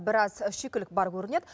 біраз шикілік бар көрінеді